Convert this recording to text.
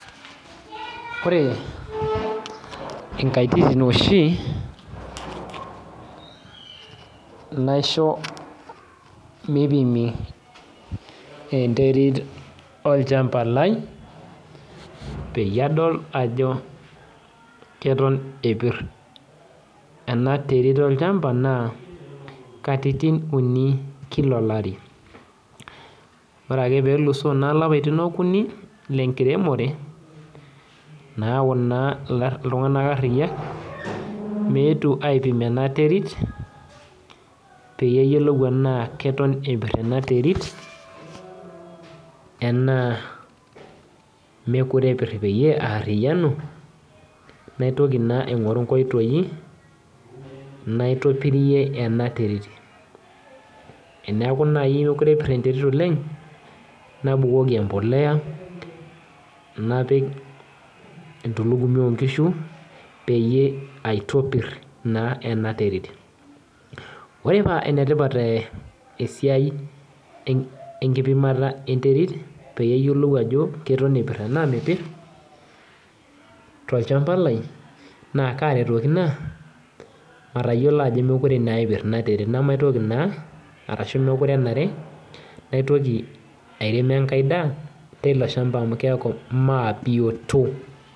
Ore nkaititin oshi naisho mipimi enterit olchamba lai peyie adol ajo keton epir enaterit olchamba na katitin uni kila olari ore ake peluso lapaitin uni lenkiremore nayau na ltunganak ariya meetu aipim enaterit peyiolou ana eton epir enaterit ana mekute epir peyie aariyanu naitoki na aingoru nkoitoi naitopirie enaterit teneaku mekute epir enaterit oleng nabukoki embolea napik entulugimi onkishu peyie aitopir enaterit ore pa enetipat esiai enkipimata enterit payiolou ana keton epir tanaa mepir tolchamba lai na kamitiki ina matayiolo ajo mekute epir inaterit nemekute enare naitoki airem enkae daa tilo shamba amu keaku mebioto.